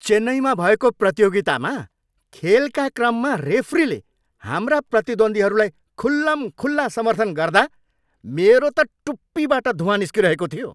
चेन्नईमा भएको प्रतियोगितामा खेलका क्रममा रेफ्रीले हाम्रा प्रतिद्वन्दीहरूलाई खुल्लमखुल्ला समर्थन गर्दा मेरो त टुप्पीबाट धुवाँ निस्किरहेको थियो।